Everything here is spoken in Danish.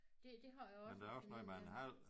Det det har jeg også en fornemmelse af